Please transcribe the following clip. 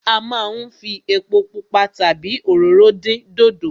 A máa ń fi epo pupa tàbí òróró dín dòdò.